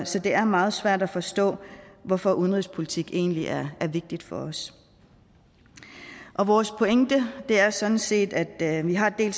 så det er meget svært at forstå hvorfor udenrigspolitik egentlig er vigtigt for os vores pointe er sådan set at vi har en